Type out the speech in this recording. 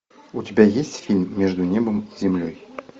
у тебя есть фильм между небом и землей